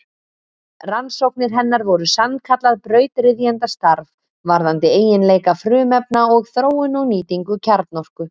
Rannsóknir hennar voru sannkallað brautryðjendastarf varðandi eiginleika frumefna og þróun og nýtingu kjarnorku.